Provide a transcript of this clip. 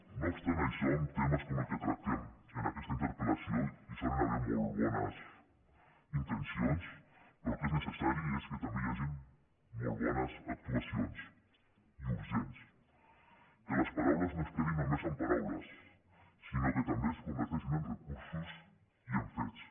no obstant això en temes com el que tractem en aquesta interpel·lació hi solen haver molt bones inten·cions però el que és necessari és que també hi hagin molt bones actuacions i urgents que les paraules no es quedin només en paraules sinó que també es con·verteixin en recursos i en fets